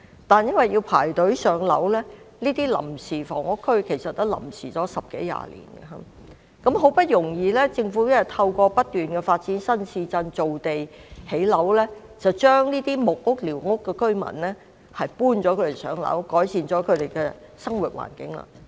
但因為市民須輪候上樓，他們在這些臨屋區"臨時"居住了十多二十年，政府好不容易透過不斷發展新市鎮，造地建屋，將這些木屋和寮屋居民安排上樓，改善了他們的生活環境。